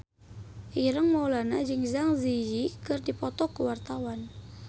Ireng Maulana jeung Zang Zi Yi keur dipoto ku wartawan